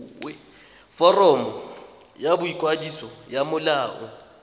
foromo ya boikwadiso ya molao